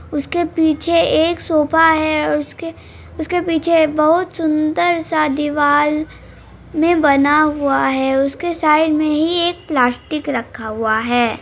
उसके पीछे एक सोफा है ओर उसके उसके पीछे एक बहुत सुंदर स देवल मे बना हुआ है उसके साइड मे ही एक प्लास्टिक रखा हुआ है।